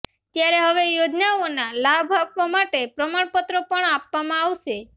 ત્યારે હવે યોજનાઓના લાભ આપવા માટે પ્રમાણપત્રો પણ આપવામાં આવશે